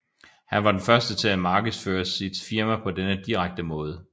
Han var den første til at markedsføre sit firma på denne direkte måde